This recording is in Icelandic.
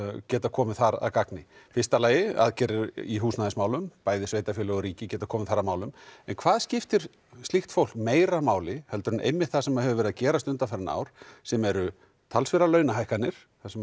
geta komið þar að gagni í fyrsta lagi aðgerðir í húsnæðismálum bæði sveitarfélög og ríki geta komið þar að málum en hvað skiptir slíkt fólk meira máli heldur en einmitt það sem hefur verið að gerast undanfarin ár sem eru talsverðar launahækkanir þar sem